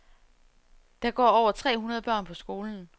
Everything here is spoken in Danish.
Der går over tre hundrede børn på skolen.